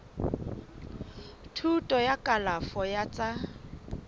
thuto ya kalafo ya tsa